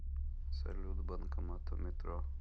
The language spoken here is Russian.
салют банкомат у метро